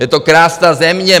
Je to krásná země.